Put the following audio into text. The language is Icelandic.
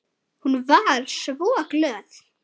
Hún var svo glöð.